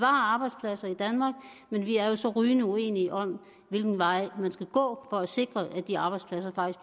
arbejdspladser i danmark men vi er jo så rygende uenige om hvilken vej man skal gå for at sikre at de arbejdspladser